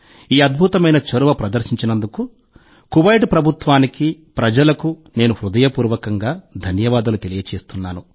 ఈ అద్భుతమైన చొరవ ప్రదర్శించినందుకు కువైట్ ప్రభుత్వానికి ప్రజలకు నేను హృదయపూర్వకంగా ధన్యవాదాలు తెలియజేస్తున్నాను